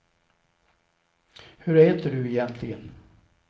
Hur äter du egentligen?